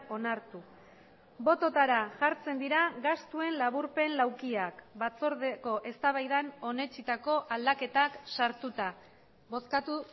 onartu bototara jartzen dira gastuen laburpen laukiak batzordeko eztabaidan onetsitako aldaketak sartuta bozkatu